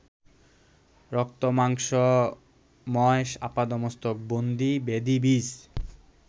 রক্তমাংসময় আপাদমস্তক বন্দী ব্যাধিবীজ